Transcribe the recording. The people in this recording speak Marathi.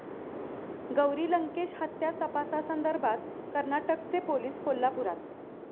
गौरी लंकेश हत्या तपासासंदर्भात कर्नाटकचे पोलीस कोल्हापुरात